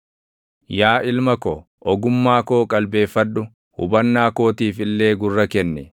Yaa ilma ko, ogummaa koo qalbeeffadhu; hubannaa kootiif illee gurra kenni;